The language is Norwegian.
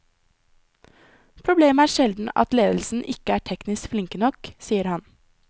Problemet er sjelden at ledelsen ikke er teknisk flinke nok, sier han.